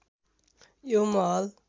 यो महल